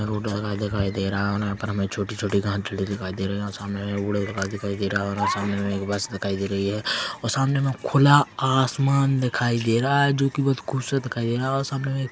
road दिखाई दे रहा है यहाँ पर हमें छोटी-छोटी घास दिखाई दे रही है और सामने हमें एक कूड़ा दिखाई दे रहा है और सामने हमें एक बस दिखाई दे रही है और सामने हमें खुला आसमान दिखाई दे रहा है जो कि बहुत ही खूबसूरत दिखाई दे रहा है और सामने में--